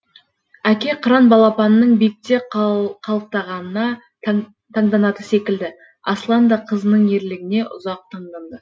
әке қыран балапанының биікте қалықтағанына таңданатыны секілді аслан да қызының ерлігіне ұзақ таңданды